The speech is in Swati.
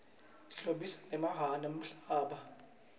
tihlobisa nemhlaba